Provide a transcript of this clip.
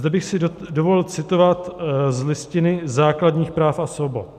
Zde bych si dovolil citovat z Listiny základních práv a svobod.